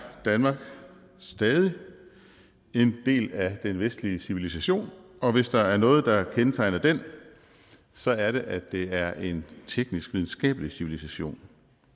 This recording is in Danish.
danmark stadig en del af den vestlige civilisation og hvis der er noget der kendetegner den så er det at det er en teknisk videnskabelig civilisation